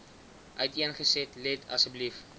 uiteengesit let asseblief